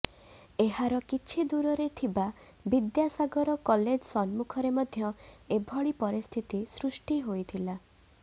ଏହାର କିଛି ଦୂରରେ ଥିବା ବିଦ୍ୟାସାଗର କଲେଜ ସମ୍ମୁଖରେ ମଧ୍ୟ ଏଭଳି ପରିସ୍ଥିତି ସୃଷ୍ଟି ହୋଇଥିଲା